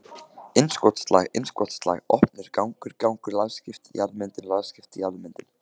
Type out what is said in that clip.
innskotslag innskotslag opnur gangur gangur lagskipt jarðmyndun lagskipt jarðmyndun.